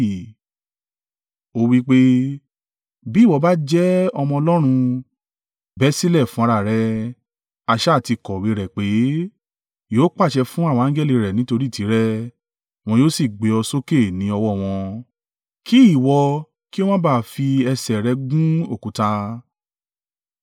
Ó wí pé, “Bí ìwọ̀ bá jẹ́ Ọmọ Ọlọ́run, bẹ́ sílẹ̀ fún ara rẹ. A sá à ti kọ̀wé rẹ̀ pé, “ ‘Yóò pàṣẹ fún àwọn angẹli rẹ̀ nítorí tìrẹ wọn yóò sì gbé ọ sókè ni ọwọ́ wọn kí ìwọ kí ó má ba à fi ẹsẹ̀ rẹ gbún òkúta.’ ”